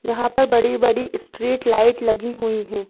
यहां पर बड़ी-बड़ी स्ट्रीट लाइट लगी हुई हैं।